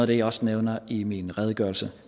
det jeg også nævner i min redegørelse